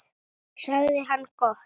sagði hann: Gott.